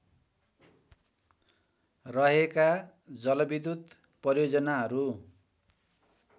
रहेका जलविद्युत परियोजनाहरू